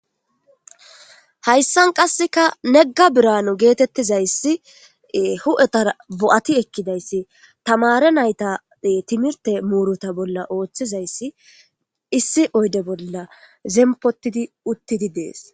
Haysan kaseka nega biranu geetetizaysi huu'etara bo'ati ekizaysi tamaare nayta timirte muruta bola oothizaysi issi oyde bola zempotidi uthidi de'es.